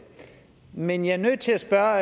men jeg er nødt til at spørge